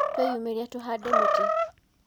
Twĩyumĩrie tũhande mĩtĩ.